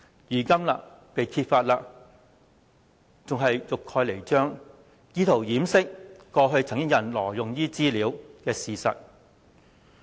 如今事情被揭發，還欲蓋彌彰，意圖掩飾過去曾有人挪用資料的事實。